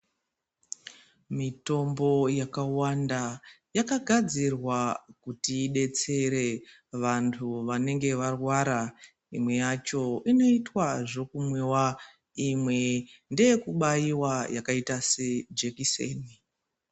Mitombo yakawanda yakagadzirwa kuti idetsere vanhu vanenge varwara imwe yacho inoitwa zvekumwiwa imwe ndeyekubaiwa yakaita sejekiseni.